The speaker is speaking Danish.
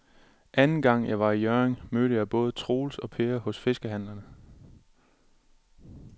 Anden gang jeg var i Hjørring, mødte jeg både Troels og Per hos fiskehandlerne.